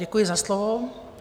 Děkuji za slovo.